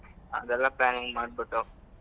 ಅದೆಲ್ಲಾ planning ಮಾಡ್ಬಿಟ್ಟು.